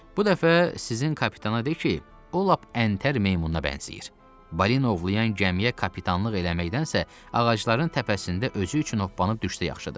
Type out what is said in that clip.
Bu dəfə sizin kapitana de ki, o lap əntər heyvanına bənzəyir, balina ovlayan gəmiyə kapitanlıq eləməkdənsə ağacların təpəsində özü üçün hoppanıb düşsə yaxşıdır.